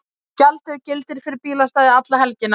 Gjaldið gildir fyrir bílastæði alla helgina